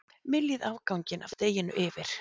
Myljið afganginn af deiginu yfir.